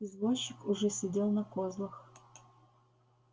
извозчик уже сидел на козлах